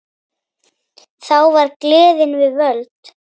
Þá var gleðin við völd.